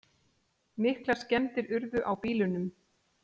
Miklar skemmdir urðu á bílunum